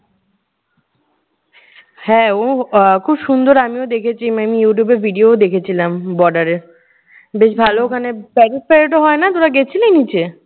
হ্যাঁ, উহ আহ খুব সুন্দর আমিও দেখেছি মানে youtube এর video ও দেখেছিলাম border এর। বেশ ভালো ওখানে প্যারেড-ট্যারেডও হয় না? তোরা গেছিলি নিচে?